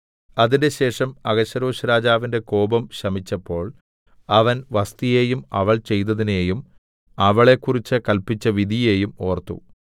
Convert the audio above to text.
അതിന്‍റെശേഷം അഹശ്വേരോശ്‌രാജാവിന്റെ കോപം ശമിച്ചപ്പോൾ അവൻ വസ്ഥിയെയും അവൾ ചെയ്തതിനെയും അവളെക്കുറിച്ച് കല്പിച്ച വിധിയെയും ഓർത്തു